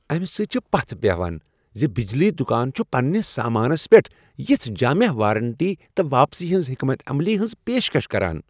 امہ سۭتۍ چھےٚ پژھ بہیان زِ بجلی دٗکان چھٗ پننس سامانس پیٹھ یژھہ جامع وارنٹی تہٕ واپسی ہنٛز حكمت عملی ہنز پیش کش کران۔